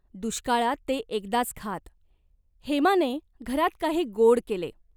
दुष्काळात ते एकदाच खात. हेमाने घरात काही गोड केले.